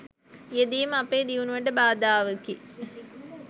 යෙදීම අපේ දියුණුවට බාධාවකි.